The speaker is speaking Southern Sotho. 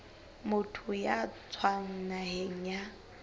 motho ya tswang naheng ya